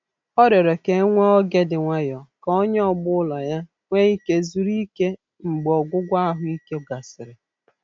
Ọ rịọrọ ka e nwee oge dị nwayọ ka onye ọgbọ ulọ ya nwee ike zuru ike mgbe ọgwụgwọ ahụike gasịrị.